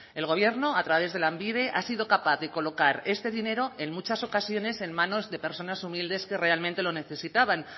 el gobierno a través de lanbide ha sido capaz de colocar este dinero en muchas ocasiones en manos de personas humildes que realmente lo necesitaban